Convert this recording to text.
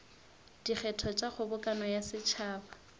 dikgetho tša kgobokano ya setšhaba